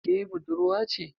Ke budurwa ce?